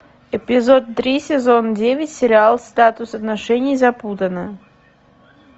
эпизод три сезон девять сериал статус отношений запутанно